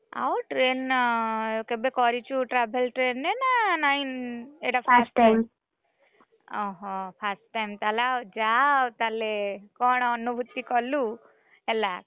ଆଉ train କେବେ କରିଛୁ travel train ରେ ନା ନାଇଁ ଏଟା ଓହୋ first time ତାହେଲେ ଆଉ ଯା ଆଉ ତାହେଲେ କଣ ଅନୁଭୂତି କଲୁ, ହେଲା।